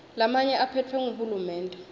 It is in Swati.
lamanye aphetfwe nguhulumende